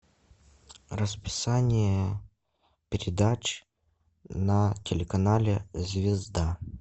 расписание передач на телеканале звезда